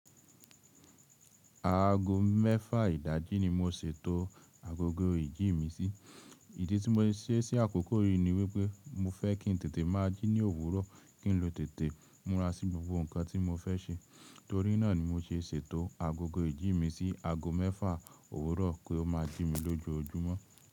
Ago mẹ́fà ìdájí ni mo ṣètò agogo ìjí mi sí. Ìdí tí mo'i ṣe ṣí àkókò yìí ni wípé mo fẹ́ kí n tètè máa jí ní òwúrọ̀, kí n lọ tètè múra sí gbogbo nǹkan tí mo fẹ́ ṣe. Torí náà ni mo ṣe ṣètò agogo ìjí mi sí ago mẹ́fà òwúrọ̀ kí ó máa jí mi lójoojúmọ́.